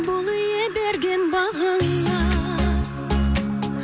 бол ие берген бағыңа